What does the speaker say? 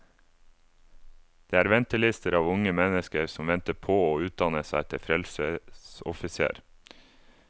Det er ventelister av unge mennesker som venter på å utdanne seg til frelsesoffiser.